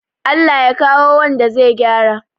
Allah ya kawo wanda zai gyara